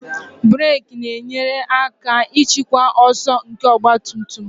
Brek na-enyere aka ịchịkwa ọsọ nke ọgba tum tum